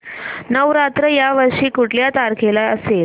नवरात्र या वर्षी कुठल्या तारखेला असेल